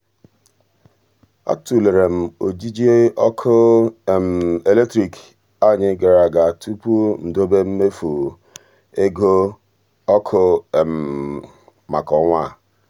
a tụlere m ojiji ọkụ eletrik anyị gara aga tupu m dobe mmefu ego ọkụ maka ọnwa a.